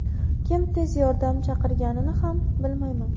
Kim tez yordam chaqirganini ham bilmayman”.